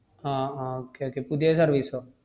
ആഹ് ah okay okay പുതിയ service ഓ?